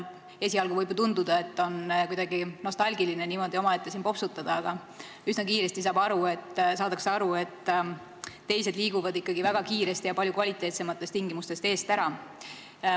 Esialgu võib ju tunduda, et on kuidagi nostalgiline niimoodi omaette siin popsutada, aga üsna kiiresti saadakse aru, et teised liiguvad ikkagi väga kiiresti ja palju kvaliteetsemates tingimustes eest ära.